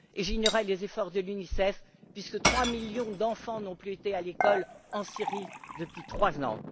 Et j'ignorais les efforts de l'UNICEF, puisque trois millions d'enfants n'ont plus été à l'école en Syrie depuis trois ans.